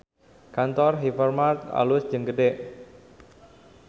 Kantor Hypermart alus jeung gede